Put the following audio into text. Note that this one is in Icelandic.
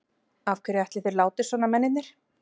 Af hverju ætli þeir láti svona, mennirnir?